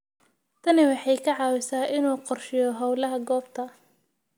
Tani waxay ka caawisaa inuu qorsheeyo hawlaha goobta.